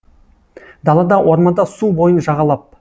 далада орманда су бойын жағалап